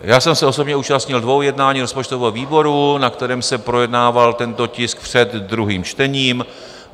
Já jsem se osobně účastnil dvou jednání rozpočtového výboru, na kterém se projednával tento tisk před druhým čtením.